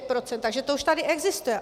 Takže to už tady existuje.